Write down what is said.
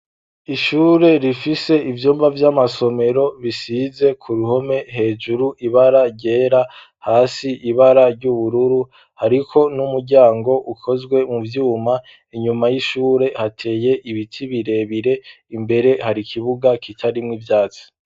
Ishure rifise ivyumba by'amasomero bisize ku ruhome hejuru ibara ryera, hasi ibara ry'ubururu hariko n'umuryango ukozwe mu vyuma, inyuma y'ishure hateye ibiti birebire, imbere hari ikibuga kitarimwo ivyatsi.